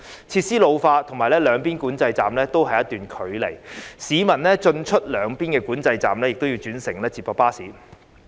設施老化，以及兩邊管制站有一段距離，市民進出兩邊的管制站均要轉乘接駁巴士。